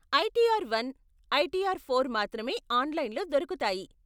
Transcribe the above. ITR one , ITR four మాత్రమే ఆన్లైన్లో దొరుకుతాయి.